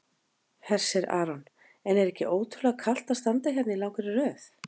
Hersir Aron: En er ekki ótrúlega kalt að standa hérna í langri röð?